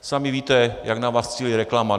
Sami víte, jak na vás cílí reklama.